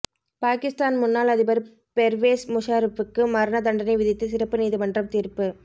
பாகிஸ்தான் முன்னாள் அதிபர் பெர்வேஸ் முஷாரஃபுக்கு மரண தண்டனை விதித்து சிறப்பு நீதிமன்றம் தீர்ப்பு